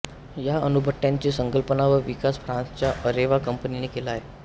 या अणुभट्ट्यांची संकल्पना व विकास फ्रान्सच्या अरेवा कंपनीने केला आहे